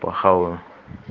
похаваю